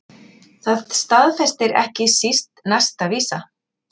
Það staðfestir ekki síst næsta vísa